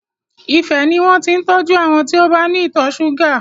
Ifẹ̀ ni wọn ti ń tọ́jú àwọn tí ó bá ní ìtọ̀ ṣúgà.